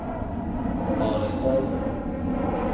Harestad